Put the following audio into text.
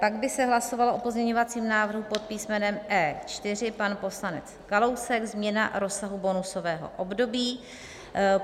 Pak by se hlasovalo o pozměňovacím návrhu po písmenem E4 - pan poslanec Kalousek, změna rozsahu bonusového období.